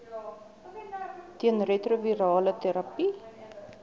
teen retrovirale terapie